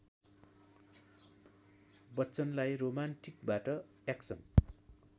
बच्चनलाई रोमान्टिकबाट एक्सन